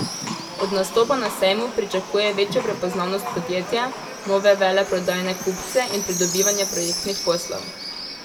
Od nastopa na sejmu pričakuje večjo prepoznavnost podjetja, nove veleprodajne kupce in pridobivanje projektnih poslov.